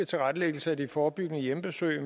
tilrettelæggelse af det forebyggende hjemmebesøg i